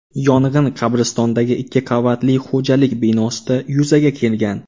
Yong‘in qabristondagi ikki qavatli xo‘jalik binosida yuzaga kelgan.